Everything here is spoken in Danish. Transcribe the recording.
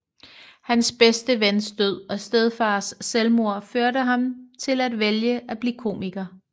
Hans bedste vens død og stedfars selvmord førte ham til at vælge at blive komiker